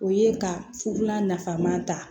O ye ka fula nafama ta